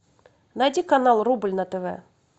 найди канал рубль на тв